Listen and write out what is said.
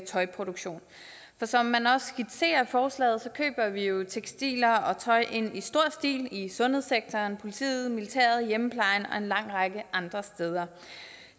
tøjproduktion som man også skitserer forslaget køber vi jo tekstiler og tøj ind i stor stil i sundhedssektoren politiet militæret i hjemmeplejen og en lang række andre steder